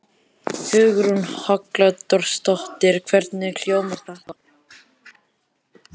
Hugrún Halldórsdóttir: Hvernig hljómar þetta?